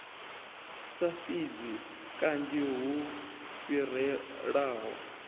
sa fhidzi kanzhi hu fhirelaho